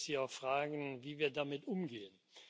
Da würde ich Sie auch fragen, wie wir damit umgehen.